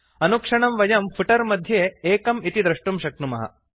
अनुक्षणं वयं फुटर् मध्ये 1 इति दृष्टुं शक्नुमः